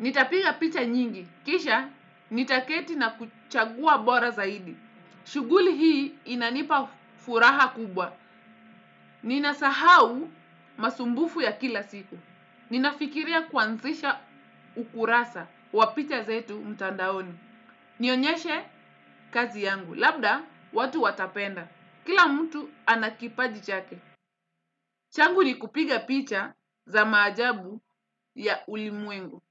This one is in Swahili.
Nitapiga picha nyingi. Kisha nitaketi na kuchagua bora zaidi. Shuguli hii inanipa furaha kubwa. Ninasahau masumbufu ya kila siku. Ninafikiria kwanzisha ukurasa wa picha zetu mtandaoni. Nionyeshe kazi yangu, labda watu watapenda. Kila mtu ana kipaji chake. Changu ni kupiga picha za maajabu ya ulimwengu.